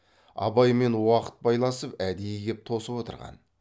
абаймен уақыт байласып әдейі кеп тосып отырған